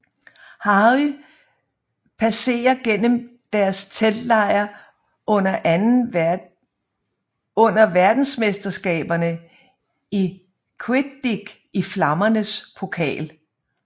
Harry passerer gennem deres teltlejr under Verdensmesterskaberne i quidditch i Flammernes Pokal